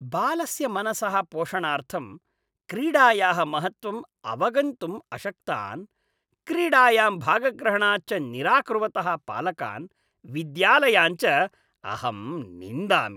बालस्य मनसः पोषणार्थं क्रीडायाः महत्त्वम् अवगन्तुम् अशक्तान्, क्रीडायां भागग्रहणात् च निराकुर्वतः पालकान्, विद्यालयान् च अहं निन्दामि।